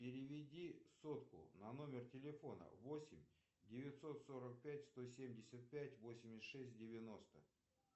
переведи сотку на номер телефона восемь девятьсот сорок пять сто семьдесят пять восемьдесят шесть девяносто